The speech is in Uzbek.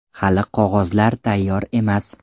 Hali qog‘ozlar tayyor emas.